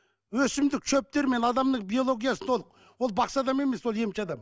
өсімдік шөптермен адамның биологиясын толық ол бақсы адам емес ол емші адам